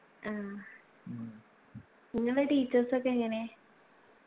ആ ഇങ്ങളെ teachers ഒക്കെ എങ്ങനെ